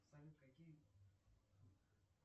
салют какие